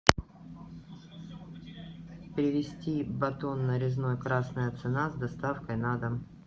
привезти батон нарезной красная цена с доставкой на дом